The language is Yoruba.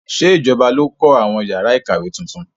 Ṣé ìjọba ló kọ àwọn yàrá ìkàwé tuntun?